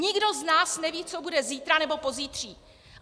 Nikdo z nás neví, co bude zítra nebo pozítří.